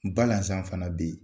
Balaan fana bɛ yen.